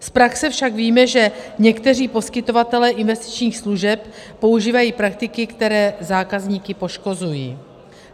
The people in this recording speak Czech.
Z praxe však víme, že někteří poskytovatelé investičních služeb používají praktiky, které zákazníky poškozují.